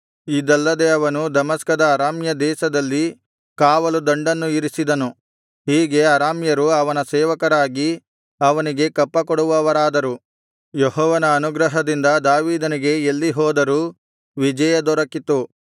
ಇದಲ್ಲದೆ ಅವನು ದಮಸ್ಕದ ಅರಾಮ್ಯ ದೇಶದಲ್ಲಿ ಕಾವಲುದಂಡನ್ನು ಇರಿಸಿದನು ಹೀಗೆ ಅರಾಮ್ಯರು ಅವನ ಸೇವಕರಾಗಿ ಅವನಿಗೆ ಕಪ್ಪ ಕೊಡುವವರಾದರು ಯೆಹೋವನ ಅನುಗ್ರಹದಿಂದ ದಾವೀದನಿಗೆ ಎಲ್ಲಿ ಹೋದರೂ ವಿಜಯ ದೊರಕಿತು